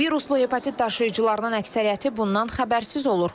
Viruslu hepatit daşıyıcılarının əksəriyyəti bundan xəbərsiz olur.